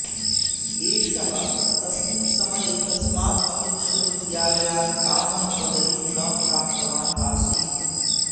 एषः तस्मिन् समये कस्मात् अपि विश्वविद्यालयात् कामपि पदवीं न प्राप्तवान् आसीत्